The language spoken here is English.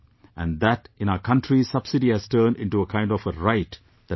And in our country subsidy has turned into a kind of a right that people expect